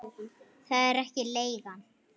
Það er ekki leigan.